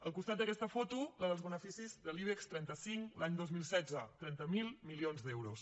al costat d’aquesta foto la dels beneficis de l’ibex trenta cinc l’any dos mil setze trenta miler milions d’euros